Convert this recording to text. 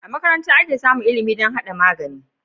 A makaranta ake samun ilimi dam hada magani